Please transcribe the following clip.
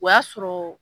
O y'a sɔrɔ